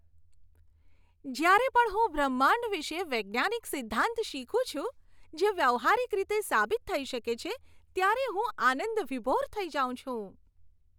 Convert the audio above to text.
જ્યારે પણ હું બ્રહ્માંડ વિશે વૈજ્ઞાનિક સિદ્ધાંત શીખું છું, જે વ્યવહારીક રીતે સાબિત થઈ શકે છે, ત્યારે હું આનંદવિભોર થઈ જાઉં છું.